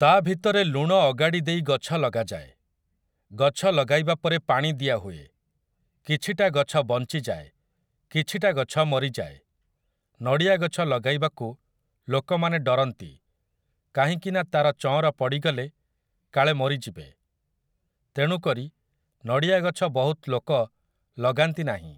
ତା' ଭିତରେ ଲୁଣ ଅଗାଡ଼ି ଦେଇ ଗଛ ଲଗାଯାଏ । ଗଛ ଲଗାଇବା ପରେ ପାଣି ଦିଆହୁଏ । କିଛିଟା ଗଛ ବଞ୍ଚିଯାଏ, କିଛିଟା ଗଛ ମରିଯାଏ । ନଡ଼ିଆ ଗଛ ଲଗାଇବାକୁ ଲୋକମାନେ ଡରନ୍ତି, କାହିଁକି ନା ତା'ର ଚଅଁର ପଡ଼ିଗଲେ କାଳେ ମରି ଯିବେ । ତେଣୁକରି ନଡ଼ିଆ ଗଛ ବହୁତ ଲୋକ ଲଗାନ୍ତି ନାହିଁ ।